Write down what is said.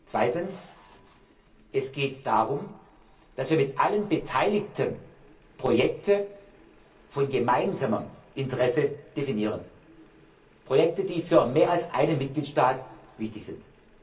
Zweitens geht es darum, dass wir mit allen Beteiligten Projekte von gemeinsamem Interesse definieren, Projekte, die für mehr als einen Mitgliedstaat wichtig sind.